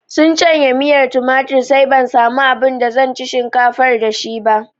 Sun canye miyar tumatir sai ban samu abin da zan ci shinkafar da shi ba